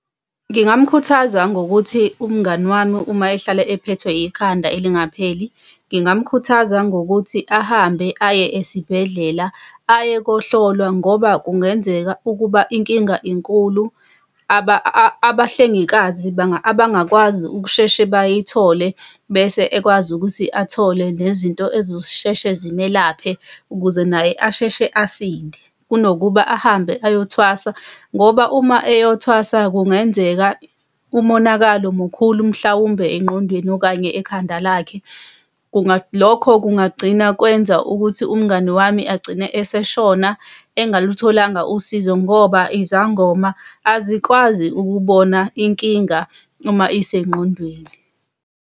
Ngingamkhuthaza ngokuthi, umngani wami uma ehlala ephethwe ikhanda elingapheli, ngingamkhuthaza ngokuthi ahambe aye esibhedlela aye kokuhlolwa ngoba kungenzeka ukuba inkinga enkulu. Abahlengikazi abangakwazi ukusheshe bayithole, bese ekwazi ukuthi athole nezinto azosheshe zimelaphe, ukuze naye asheshe asinde kunokuba ahambe ayothwasa ngoba uma ayothwasa kungenzeka umonakalo mukhulu mhlawumbe engqondweni okanye ekhanda lakhe. Lokho kungagcina kwenza ukuthi umngani wami agcine eseshona engalutholanga usizo ngoba izangoma azikwazi ukubona inkinga uma isengqondweni.